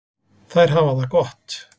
Þær hafa það gott.